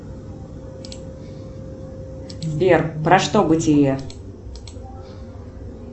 сбер про что бытие